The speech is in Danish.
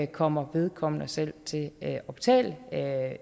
kommer vedkommende selv til at betale